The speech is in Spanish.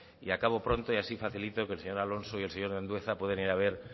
y acabo pronto y así facilito que el señor alonso y el señor andueza puedan ir a ver